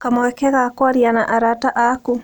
kamweke ga kũaria na arata aku?